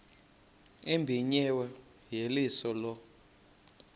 ebimenyiwe yeyeliso lo